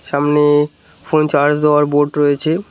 সামনে ফোনে চার্জ দেওয়ার বোর্ড রয়েছে।